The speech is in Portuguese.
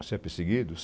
Você é perseguido?